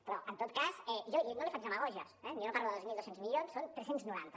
però en tot cas jo no li faig demagògies eh jo no parlo de dos mil dos cents milions són tres cents i noranta